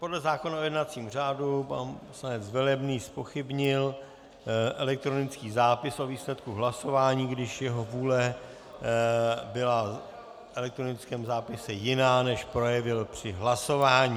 Podle zákona o jednacím řádu pan poslanec Velebný zpochybnil elektronický zápis o výsledku hlasování, když jeho vůle byla v elektronickém zápise jiná, než projevil při hlasování.